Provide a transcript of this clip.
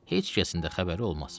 Heç kəsin də xəbəri olmaz.